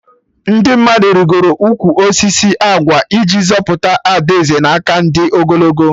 Ndị mmadụ rigoro ụkwụ osisi agwa iji zọpụta Ada Eze na aka ndị ogologo